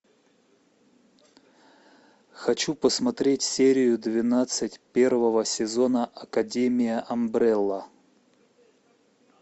хочу посмотреть серию двенадцать первого сезона академия амбрелла